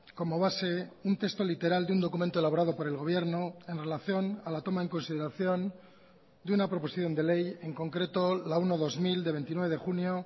como base un texto literal de un documento elaborado por el gobierno en relación a la toma en consideración de una proposición de ley en concreto la uno barra dos mil de veintinueve de junio